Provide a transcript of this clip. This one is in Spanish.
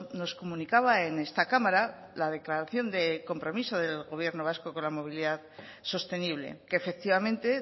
nos comunicaba en esta cámara la declaración de compromiso del gobierno vasco con la movilidad sostenible que efectivamente